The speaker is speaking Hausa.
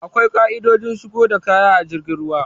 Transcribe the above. Akwai ƙa'idojin shigo da kaya ta jirgin ruwa.